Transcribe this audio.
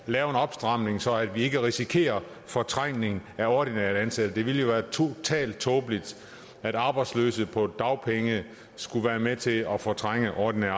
lave en opstramning så vi ikke risikerer fortrængning af ordinært ansatte det ville jo være totalt tåbeligt at arbejdsløse på dagpenge skulle være med til at fortrænge ordinært